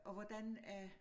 Og hvordan at